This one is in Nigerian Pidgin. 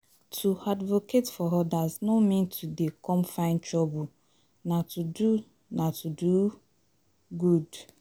To advocate for odas no mean to dey come find trouble nah to do nah to do good